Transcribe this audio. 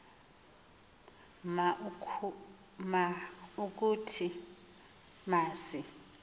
ma ukuthi masi